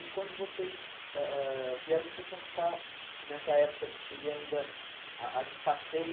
E quando vocês ãh ãh vieram, vocês foram ficar nessa época que seria ainda a a de passeio.